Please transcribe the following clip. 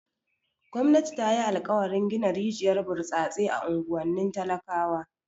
Gwamnati ta yi alkawarin gina rijiyar burtsatse a unguwannin talakawa.